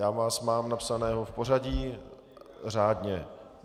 Já vás mám napsaného v pořadí, řádně.